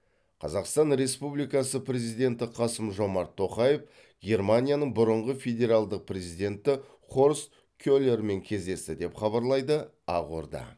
қазақстан республикасы президенті қасым жомарт тоқаев германияның бұрынғы федералдық президенті хорст келермен кездесті деп хабарлайды ақорда